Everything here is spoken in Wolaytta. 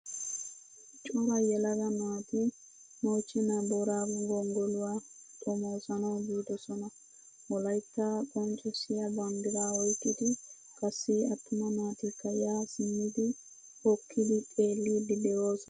Cora yelaga naati mochchenna boorago gonggoluwaa xommosanawu biidosan wolaytta qonccisiyaa banddiraa oyqqidi qassi attuma naatikka ya simmidi hokkidi xeelidi deosona.